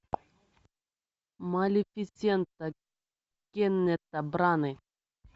малефисента кеннета бранны